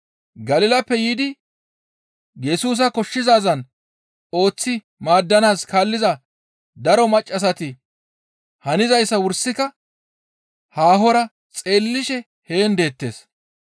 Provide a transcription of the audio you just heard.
Galilappe yiidi Yesusa koshshizaazan ooththi maaddanaas kaalliza daro maccassati hanizayssa wursika haahora xeellishe heen deettes.